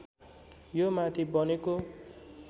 यो माथि बनेको